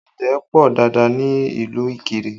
Ọ̀gẹ̀dẹ̀ pọ dáadáa ní ìlú Ikire